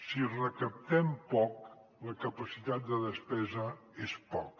si recaptem poc la capacitat de despesa és poca